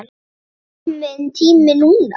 Er kominn tími núna?